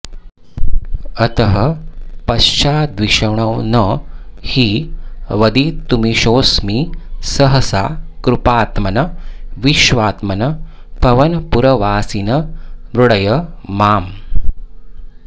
अतः पश्चाद्विष्णो न हि वदितुमीशोऽस्मि सहसा कृपात्मन् विश्वात्मन् पवनपुरवासिन् मृडय माम्